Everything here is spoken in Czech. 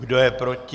Kdo je proti?